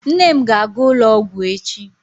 Nne m ga-aga ụlọ ọgwụ echi.